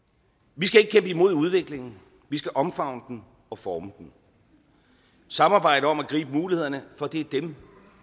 vi skal ikke kæmpe imod udviklingen vi skal omfavne den og forme den samarbejde om at gribe mulighederne for det er dem